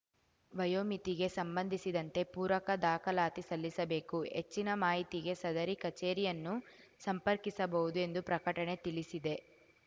ವಯೋಮಿತಿಗೆ ಸಂಬಂಧಿಸಿದಂತೆ ಪೂರಕ ದಾಖಲಾತಿ ಸಲ್ಲಿಸಬೇಕು ಹೆಚ್ಚಿನ ಮಾಹಿತಿಗೆ ಸದರಿ ಕಚೇರಿಯನ್ನು ಸಂಪರ್ಕಿಸಬಹುದು ಎಂದು ಪ್ರಕಟಣೆ ತಿಳಿಸಿದೆ